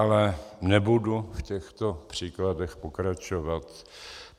Ale nebudu v těchto příkladech pokračovat.